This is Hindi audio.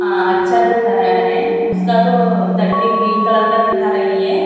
-- अच्छा दिख रहा है उसका तो -- दंडी ग्रीन कलर का दिखा रही है।